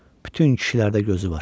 Bütün kişilərdə gözü var.